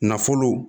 Nafolo